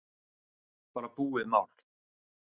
Bara búið mál!